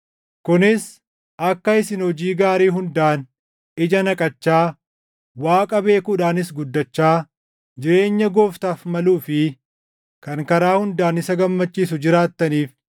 Kunis akka isin hojii gaarii hundaan ija naqachaa, Waaqa beekuudhaanis guddachaa, jireenya Gooftaaf maluu fi kan karaa hundaan isa gammachiisu jiraattaniif;